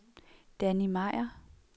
Danny Meier